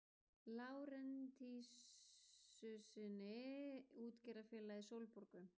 Lárentsíussyni útgerðarfélagið Sólborgu.